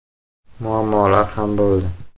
Muammolar ham bo‘ldi.